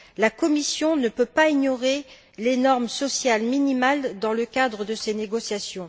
La Commission ne peut pas ignorer les normes sociales minimales dans le cadre de ces négociations.